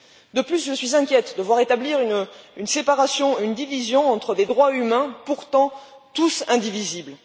De plus, je suis inquiète de voir établir une séparation, une division entre des droits humains pourtant tous indivisibles.